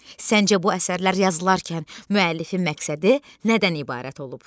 Səncə bu əsərlər yazılarkən müəllifin məqsədi nədən ibarət olub?